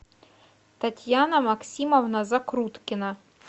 татьяна максимовна закруткина